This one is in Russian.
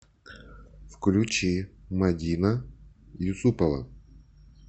включи мадина юсупова